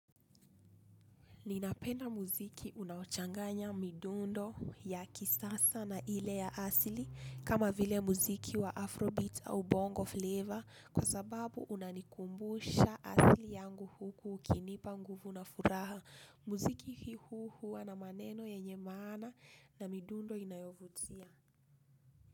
Ninapenda muziki unaochanganya midundo ya kisasa na ile ya asili kama vile muziki wa Afrobeat au Bongo Flavor kwa sababu unanikumbusha asili yangu huku ukinipa nguvu na furaha. Mziki hii huwa na maneno yenye maana na midundo inayovutia.